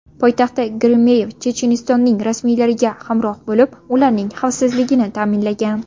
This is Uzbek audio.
Poytaxtda Geremeyev Chechenistonning rasmiylariga hamroh bo‘lib, ularning xavfsizligini ta’minlagan.